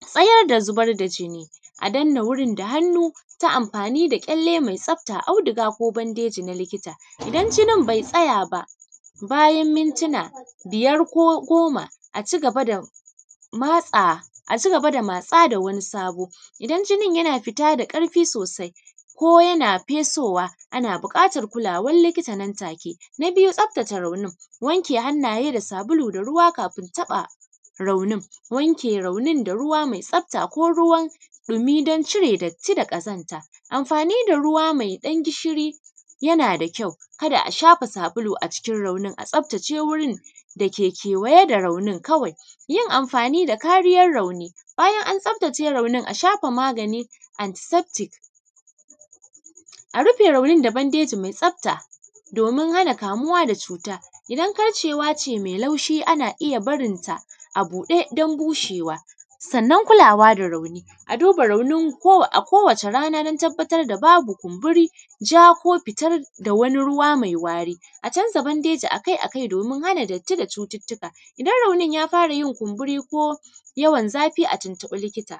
tsayar da zubar da jinni, a danne wurin da hannu ta amfani da ƙyalle mai tsafta, auduga ko bandeji na likita. Idan jinin bai tsaya ba, bayan mintuna biyar ko goma a ci gaba da matsa, a ci gaba da matsa a ci gaba matsa da wani sabo. Idan jinin yana fita da ƙarfi sosai, ko yana fesowa, ana buƙatar kulawar likita nan take. Na biyu, tsaftace raunin, wanke hannaye da ruwa da sabulu kafin taɓa raunin, wanke raunin da ruwa mai tsafta ko ruwan ɗumi don cire datti da ƙazanta, amfani da ruwa mai ɗan gishiri yana da kyau, kada a shafa sabulu a cikin raunin, a tsaftace wurin da ke kewaye da raunin kawai. Yin amfani da kariyar rauni, bayan an tsaftace raunin, a shafa maganin antiseptic, a rufe raunin da bandeji mai tsafta domin hana kamuwa da cuta. Idan karcewa ce mai laushi, ana iya barinta a buɗe don bushewa. Sannan kulawa da rauni, a duba raunin ko, a kowace rana don tabbatar da babu kumburi, ja ko fitar da wani ruwa mai wari. A canza bandeji a kai a kai domin hana datti da cututtuka. Idan raunin ya fara yin kumburi ko yawan zafi a tuntuɓi likita.